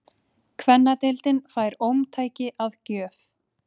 Kvennadeildin fær ómtæki að gjöf